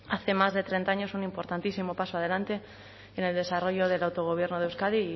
hace más de treinta años un importantísimo paso adelante en el desarrollo del autogobierno de euskadi y